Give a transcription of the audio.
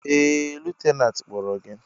Ee! Lutenantị kpọrọ gị!